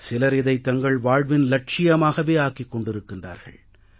சிலர் இதை தங்கள் வாழ்வின் இலட்சியமாகவே ஆக்கிக் கொண்டிருக்கிறார்கள்